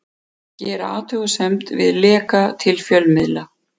Gera athugasemd við leka til fjölmiðla